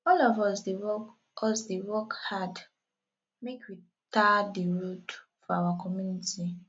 all of us dey work us dey work hard make we tar di road for our community